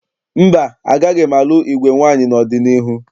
Mba, agaghị m alụ igwe nwaanyị n'ọdịniihu